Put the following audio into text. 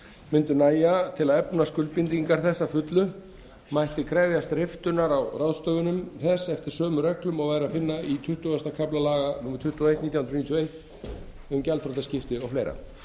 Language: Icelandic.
mundu nægja til að efna skuldbindingar þess að fullu mætti krefjast riftunar á ráðstöfunum þess eftir sömu reglum og væri að finna í tuttugasta kafla laga númer tuttugu og eitt nítján hundruð níutíu og eitt um gjaldþrotaskipti og fleira